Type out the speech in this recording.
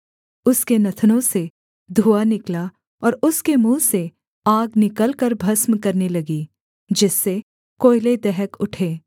उसके नथनों से धुआँ निकला और उसके मुँह से आग निकलकर भस्म करने लगी जिससे कोयले दहक उठे